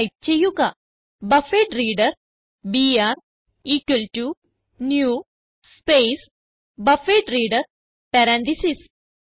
type ചെയ്യുക buffered reader BR equal to new space buffered reader parenthesis